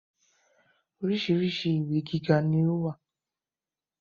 Oríṣiríṣi ilé ìwé gíga ni ó wà